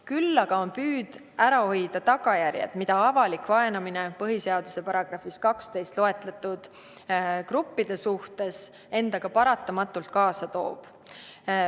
Küll aga on püüd ära hoida tagajärjed, mida avalik vaenamine põhiseaduse §-s 12 loetletud gruppide suhtes endaga paratamatult kaasa toob.